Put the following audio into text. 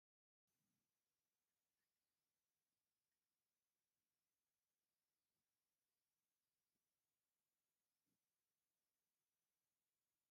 ኣብ ትግራይ ከባቢ ገጠር ዝርከብ ጎጆ ገዛ ካብ ሳዕርን ዕንፀይትን ብእምኒ ዝተነደቀ ኮይኑ፣ ደቂ ሰባት ንመንበሪ ዝጥቀሙሉ ዓይነት ገዛ እዩ።